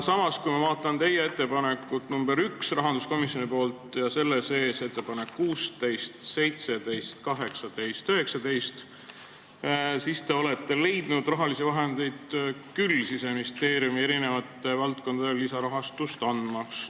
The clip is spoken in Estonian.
Samas, kui ma vaatan rahanduskomisjoni ettepanekut nr 1 ja selle punkte 16, 17, 18, 19, siis näen, et te olete küll leidnud võimalusi Siseministeeriumi erinevatele valdkondadele lisaraha andmiseks.